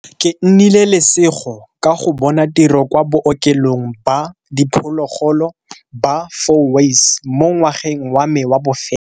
Ke nnile lesego ka go bona tiro kwa Bookelong ba Diphologolo ba Fourways mo ngwageng wa me wa bofelo.